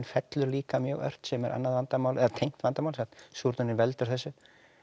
fellur líka mjög ört sem er annað vandamál eða tengt vandamál sem sagt súrnunin veldur þessu